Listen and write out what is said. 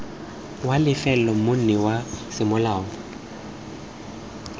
wa lefelo monni wa semolao